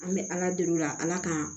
An bɛ ala deli o la ala ka